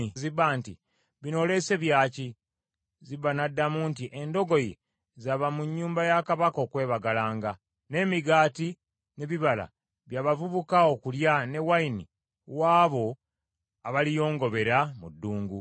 Kabaka n’abuuza Ziba nti, “Bino oleese bya ki?” Ziba n’addamu nti, “Endogoyi za ba mu nnyumba ya kabaka okwebagalanga, n’emigaati n’ebibala bya bavubuka okulya, ne wayini, w’abo abaliyongobera mu ddungu.”